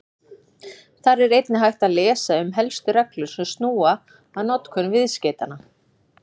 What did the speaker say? Þar er einnig hægt að lesa um helstu reglur sem snúa að notkun viðskeytanna.